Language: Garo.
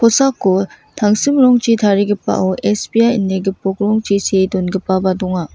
kosako tangsim rongchi tarigipao S_B_I ine gipok rongchi see dongipaba donga.